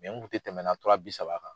N kun te tɛmɛna tura bi saba kan.